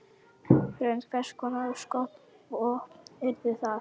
Hrund: Hvers konar skotvopn yrðu það?